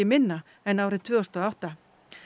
minna en árið tvö þúsund og átta